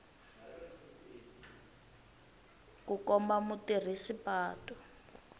ku komba mutirhisi wa patu